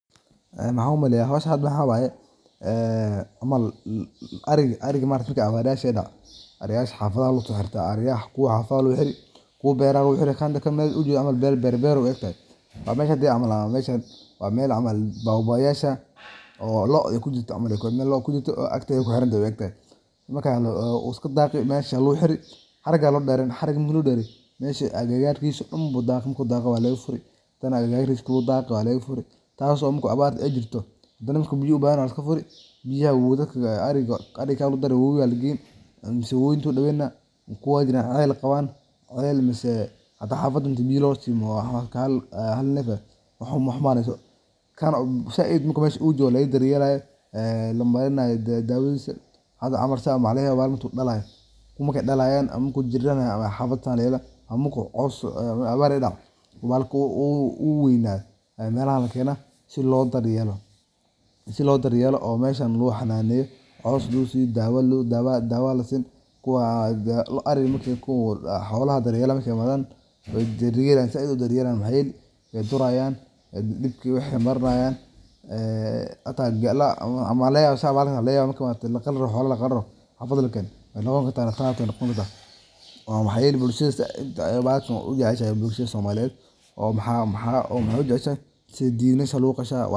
Maxan u maleya howshan hada maxa waye maaragte ariga, marki abarta dacdo , waxaa si weyn u saameeya xoolaha sida ariga, kuwaasoo u baahan daryeel dheeraad ah si ay u badbaadaan. Si ariga loo hananeyo xilliga abaarta, waxaa muhiim ah in la qorsheeyo keydinta cunto iyo biyo nadiif ah oo ku filan, maadaama ay yaraadaan dhirta daaqa iyo ceelasha biyaha. Waxaa wanaagsan in xoolaha loo sameeyo meel hoos ah ama hadh leh oo ay kaga nasan karaan kulaylka daran. Intaa waxaa dheer, waxaa lagama maarmaan ah in la siiyo cuntooyinka nafaqada leh ee lagu beddeli karo daaqa, sida haynta qalalan, galleyda, ama waxyaabo kale oo la isku daro si ay u helaan tamar iyo caafimaad. Waxaa kale oo muhiim ah